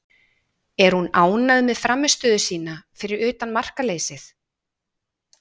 Er hún ánægð með frammistöðu sína fyrir utan markaleysið?